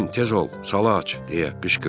Cim, tez ol, sala aç deyə qışqırdım.